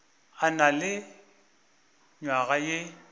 a na le nywaga ye